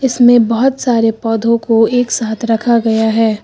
इसमें बहोत सारे पौधों को एक साथ रखा गया है।